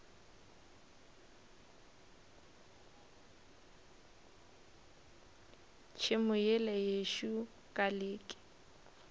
tšhemo yela yešo ka leke